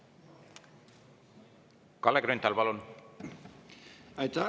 Kalle Grünthal, palun!